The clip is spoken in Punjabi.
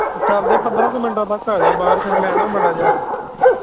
ਉਹ ਚਲਦੇ ਪੰਦਰਾਂ ਕਿ ਮਿੰਟ ਵਕਤ ਹੈਗਾ ਬਾਰ ਫਿਰ ਮੈ ਨਾ ਮਾੜਾ ਜਾ